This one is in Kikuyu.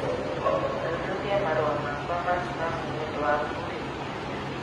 Thuthuria marũa makwa ma spamu nĩ ũndũ wa kũhĩtithia